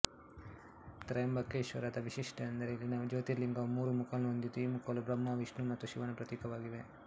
ತ್ರ್ಯಂಬಕೇಶ್ವರದದ ವೈಶಿಷ್ಟ್ಯವೆಂದರೆ ಇಲ್ಲಿನ ಜ್ಯೋತಿರ್ಲಿಂಗವು ಮೂರು ಮುಖಗಳನ್ನು ಹೊಂದಿದ್ದು ಈ ಮುಖಗಳು ಬ್ರಹ್ಮ ವಿಷ್ಣು ಮತ್ತು ಶಿವನ ಪ್ರತೀಕವಾಗಿವೆ